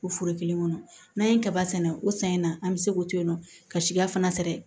O foro kelen kɔnɔ n'an ye kaba sɛnɛ o san in na an mi se k'o to yen nɔ ka siya fana